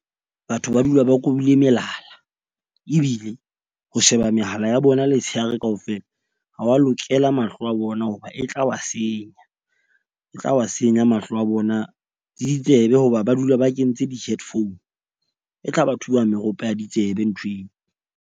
Batho ba dula ba kobile melala ebile ho sheba mehala ya bona letshehare kaofela ha wa lokela mahlo a bona, hoba e tla wa senya. E tla wa senya mahlo a bona le ditsebe hoba ba dula ba kentse di-headphone, e tla ba thuba meropa ya ditsebe nthweo.